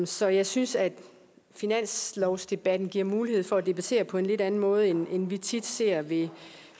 så jeg synes at finanslovsdebatten giver mulighed for at debattere på en lidt anden måde end vi tit ser ved